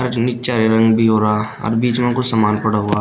और निच्चा हरे रंग भी हो रहा और बीच में कुछ सामान पड़ा हुआ --